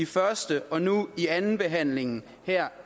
første og nu andenbehandlingen her